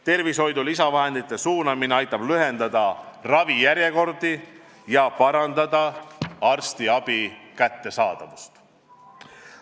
Tervishoidu lisavahendite suunamine aitab lühendada ravijärjekordi ja parandada arstiabi kättesaadavust.